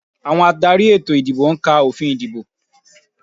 Àwọn adarí ètò ìdìbò ń ka òfin ìdìbò